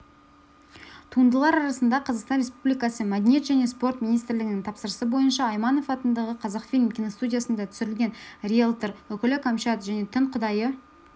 туындылар арасында қазақстан республикасы мәдениет және спорт министрлігінің тапсырысы бойынша айманов атындағы қазақфильм киностудиясында түсірген риэлтор үкілі кәмшат және түн құдайы